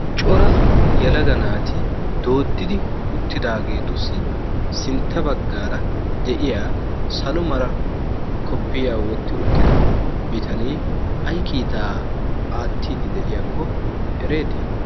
Cora yalaga naati dooddidi uttidaageetussi sintta baggaara de'iya salo mara koppiyaa wotti uttida bitanee ay kiitaa aattiiddi de'iyaakko ereetii?